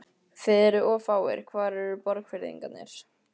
Þið eruð of fáir, hvar eru Borgfirðingarnir?